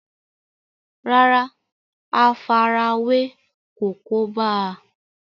rárá, àfarawé kò kóbá a